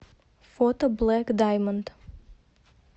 фото блэк даймонд